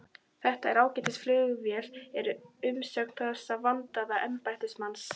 Þetta er ágætis flugvél er umsögn þessa vandaða embættismanns.